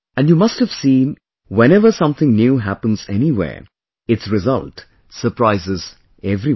And you must have seen whenever something new happens anywhere, its result surprises everyone